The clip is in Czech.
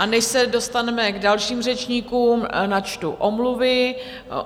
A než se dostaneme k dalším řečníkům, načtu omluvy.